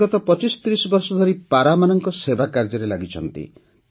ସେ ଗତ ୨୫୩୦ ବର୍ଷ ଧରି ପାରାମାନଙ୍କ ସେବାକାର୍ଯ୍ୟରେ ଲାଗିଛନ୍ତି